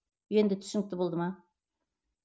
енді түсінікті болды ма